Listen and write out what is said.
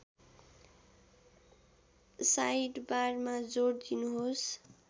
साइडबारमा जोड दिनुहोस्